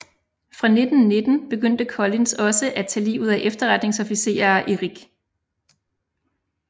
Fra 1919 begyndte Collins også at tage livet af efterretningsofficerer i RIC